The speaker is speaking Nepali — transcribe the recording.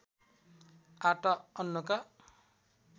आटा अन्नका